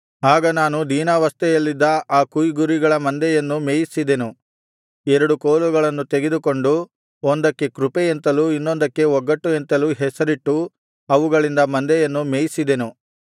ಆಗ ನಾನು ದೀನಾವಸ್ಥೆಯಲ್ಲಿದ್ದ ಆ ಕೊಯ್ಗುರಿಗಳ ಮಂದೆಯನ್ನು ಮೇಯಿಸಿದೆನು ಎರಡು ಕೋಲುಗಳನ್ನು ತೆಗೆದುಕೊಂಡು ಒಂದಕ್ಕೆ ಕೃಪೆ ಎಂತಲೂ ಇನ್ನೊಂದಕ್ಕೆ ಒಗ್ಗಟ್ಟು ಎಂತಲೂ ಹೆಸರಿಟ್ಟು ಅವುಗಳಿಂದ ಮಂದೆಯನ್ನು ಮೇಯಿಸಿದೆನು